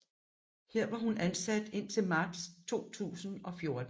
Her var hun ansat indtil marts 2014